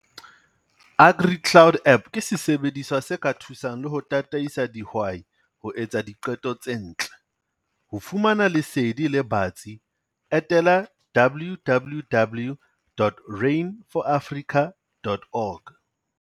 AgriCloud app ke sesebediswa se ka thusang le ho tataisa dihwai ho etsa diqeto tse ntle. Ho fumana lesedi le batsi, etela www.rain4africa.org.